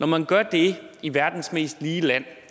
man gør det i verdens mest lige land